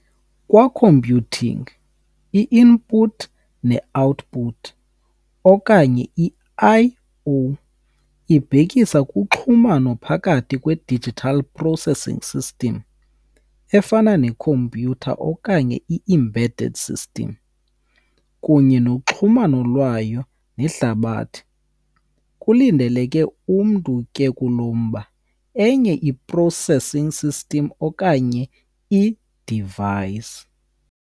Kwa-computing, i-input ne-output, okanye i-I - O, ibhekisa kuxhumano phakathi kwe-digital processing system, efana ne-computer okanye i-embedded system, kunye noxhumano lwayo nehlabathi - kulindeleke umntu ke kulo mba, enye i-processing system okanye i-device.